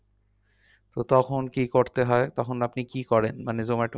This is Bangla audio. তো তখন কি করতে হয়? তখন আপনি কি করেন? মানে zomato